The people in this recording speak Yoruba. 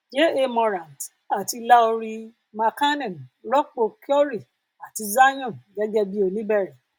ja morant àti lauri markkanen rọpò curry àti zion gẹgẹ bí oníbẹrẹ